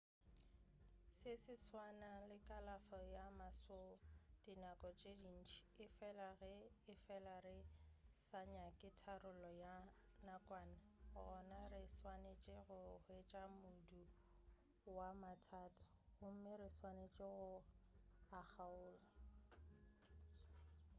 se se swana le kalafo ya maswo dinako tše dintši efela ge efela re sa nyake tharollo ya nakwana gona re swanetše go hwetša modu wa mathata gomme re swanetše go a kgaola